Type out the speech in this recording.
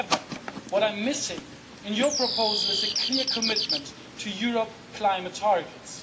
However, what I'm missing in the proposal is a clear commitment to European level climate targets.